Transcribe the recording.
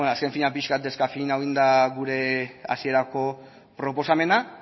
ez beno azken finean pixka bat deskafeinatu egin da gure hasierako proposamena